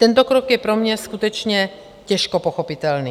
Tento krok je pro mě skutečně těžko pochopitelný.